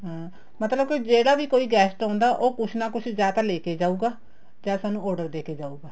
ਹਾਂ ਮਤਲਬ ਕੀ ਜਿਹੜਾ ਵੀ ਕੋਈ guest ਆਉਂਦਾ ਉਹ ਕੁੱਛ ਨਾ ਕੁੱਛ ਜਾਂ ਤਾਂ ਲੈਕੇ ਜਾਉਗਾ ਜਾਂ ਸਾਨੂੰ order ਦੇਕੇ ਜਾਉਗਾ